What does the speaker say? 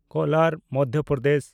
ᱠᱳᱞᱟᱨ (ᱢᱚᱫᱫᱷᱚ ᱯᱨᱚᱫᱮᱥ)